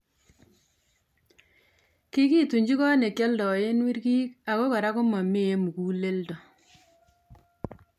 kigitunjii koot negialdaen wirgiig ago kora komamee muguleldo